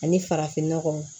Ani farafinnɔgɔ